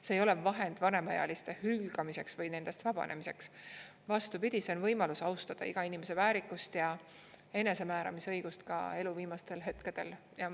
See ei ole vahend vanemaealiste hülgamiseks või nendest vabanemiseks, vastupidi, see on võimalus austada inimese väärikust ja enesemääramisõigust ka elu viimastel hetkedel.